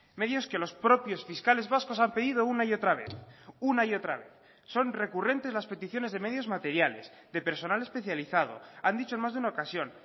medios que los propios fiscales vascos han pedido una y otra vez una y otra vez son recurrentes las peticiones de medios materiales de personal especializado han dicho en más de una ocasión